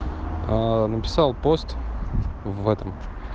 написал пост в этом